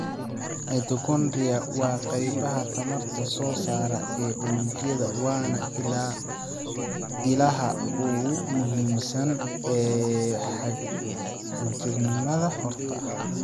Mitochondria waa qaybaha tamarta soo saara ee unugyada waana ilaha ugu muhiimsan ee xagjirnimada xorta ah.